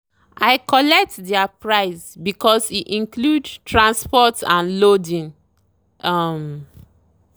i collect their price because e include transport and loading. um